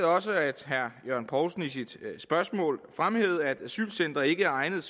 også at herre jørgen poulsen i sit spørgsmål fremhævede at et asylcenter ikke er egnet